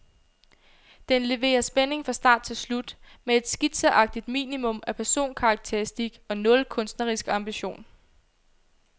Den leverer spænding fra start til slut, med et skitseagtigt minimum af personkarakteristik og nul kunstnerisk ambition.